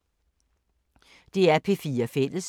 DR P4 Fælles